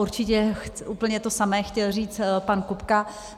Určitě úplně to samé chtěl říct pan Kupka.